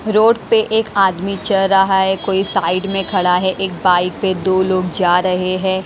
Road पे एक आदमी चल रहा है कोई साइड में खड़ा है एक बाइक पर दो लोग जा रहे हैं।